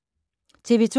TV 2